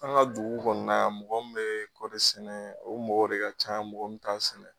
An ka dugu kɔni na yan mɔgɔ min bɛ kɔɔri sɛnɛ o mɔgɔ de ka ca mɔgɔ min t'a sɛnɛ.